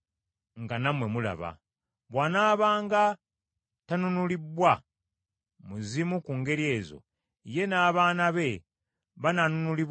“Bw’anaabanga tanunulibbwa mu zimu ku ngeri ezo, ye n’abaana be banaanunulibwanga mu Mwaka gwa Jjubiri.